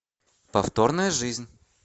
повторная жизнь